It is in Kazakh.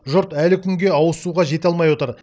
жұрт әлі күнге ауызсуға жете алмай отыр